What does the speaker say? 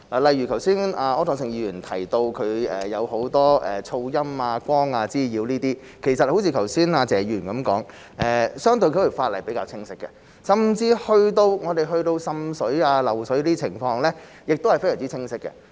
例如，剛才柯創盛議員提到很多噪音、光滋擾等問題，正如剛才謝議員所說，相關法例是比較清晰的，甚至去到滲水、漏水的情況，法例亦都非常清晰。